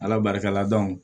Ala barika la